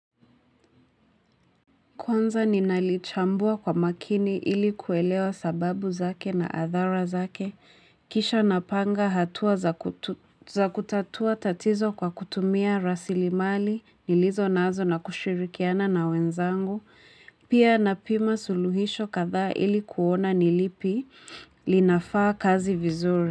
Kwanza ninalichambua kwa makini ili kuelewa sababu zake na athara zake, kisha napanga hatua za kutatua tatizo kwa kutumia rasilimali, nilizo nazo na kushirikiana na wenzangu, pia napima suluhisho kadha ili kuona nilipi linafaa kazi vizuri.